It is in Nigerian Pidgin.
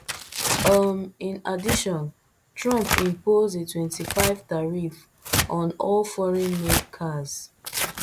um in addition trump impose a twenty-five tariff on all foreignmade cars